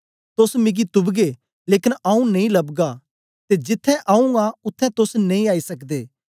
तोस मिगी तुपगे लेकन आऊँ नेई लबगा ते जिथें आऊँ आं उत्थें तोस नेई आई सकदे